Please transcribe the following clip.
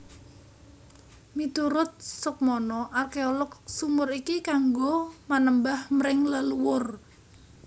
Miturut Soekmono arkeolog sumur iki kanggo manembah mring leluwur